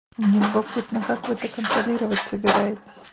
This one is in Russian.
любопытно как вы это контролировать собираетесь